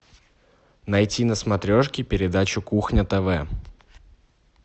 найти на смотрешке передачу кухня тв